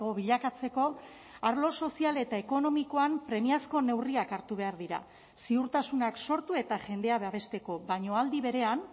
bilakatzeko arlo sozial eta ekonomikoan premiazko neurriak hartu behar dira ziurtasunak sortu eta jendea babesteko baina aldi berean